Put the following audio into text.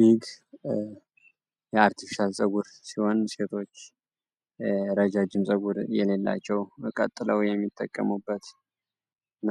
ዊግ የአርቲፊሻል ፀጉር ሲሆን ሴቶች ረጃጅም ፀጉር የሌላቸው ቀጥለው የሚጠቀሙበት እና